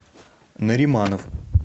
нариманов